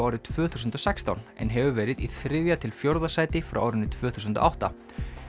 árið tvö þúsund og sextán en hefur verið í þriðja til fjórða sæti frá árinu tvö þúsund og átta